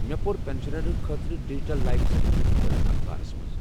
مےٚ پوٚر پٮ۪نشنرن خٲطرٕ ڈجٹل لایف سرٹفکیٹہِ متعلق اخبارس منٛز۔